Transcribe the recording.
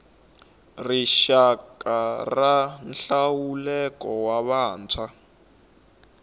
rixaka ya nhluvukiso wa vantshwa